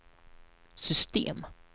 system